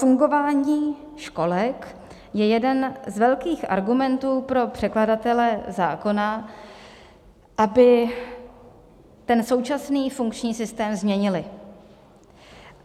Fungování školek je jeden z velkých argumentů pro předkladatele zákona, aby ten současný funkční systém změnili.